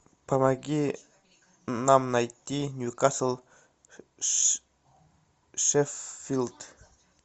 помоги нам найти ньюкасл шеффилд